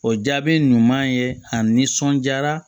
O jaabi ɲuman ye a nisɔnjaara